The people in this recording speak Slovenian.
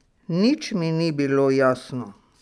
Nič mi ni bilo jasno.